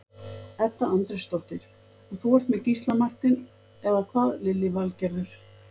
Edda Andrésdóttir: Og þú ert með Gísla Martein, eða hvað Lillý Valgerður?